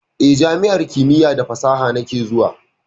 Eh, jami'ar kimiya da fasaha nake zuwa.